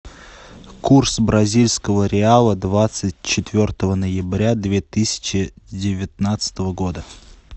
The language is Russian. курс бразильского реала двадцать четвертого ноября две тысячи девятнадцатого года